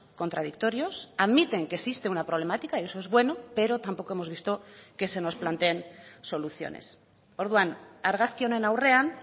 contradictorios admiten que existe una problemática y eso es bueno pero tampoco hemos visto que se nos planteen soluciones orduan argazki honen aurrean